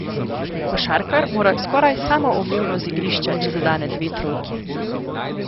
Košarkar mora skoraj samoumevno z igrišča, če zadene dve trojki.